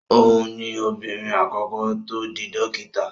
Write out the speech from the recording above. Òhun ni obìnrin àkọ́kọ́ tó di dókítà.